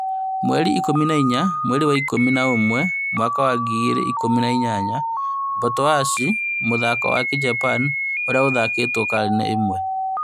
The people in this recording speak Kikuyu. Mweri ikũmi na inya mweri wa ikũmi na ũmwe mwaka wa ngiri igĩrĩ ikũmi na inyanya, Botoashi mũthako wa kĩjapan ũrĩa ũthakĩtwo karine ĩmwe